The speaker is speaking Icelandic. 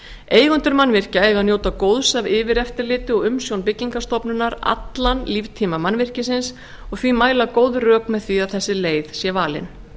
eigendur mannvirkja eiga að njóta góðs af yfireftirliti og umsjón byggingarstofnunar allan líftíma mannvirkisins og því mæla góð rök með því að þessi leið sé valin